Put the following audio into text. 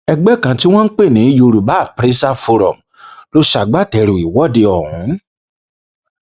ẹgbẹ kan tí wọn pè ní yorùbá apprasa forum ló ṣagbátẹrù ìwọde ọhún